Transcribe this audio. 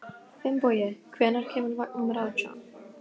Finnbogi, hvenær kemur vagn númer átján?